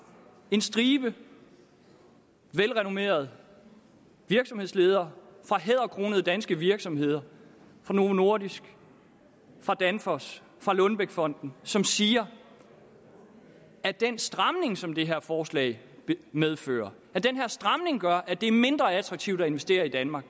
en stribe velrenommerede virksomhedsledere fra hæderkronede danske virksomheder fra novo nordisk fra danfoss fra lundbeckfonden som siger at den stramning som det her forslag medfører gør at det er mindre attraktivt at investere i danmark